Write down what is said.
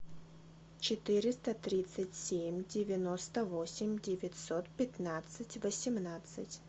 четыреста тридцать семь девяносто восемь девятьсот пятнадцать восемнадцать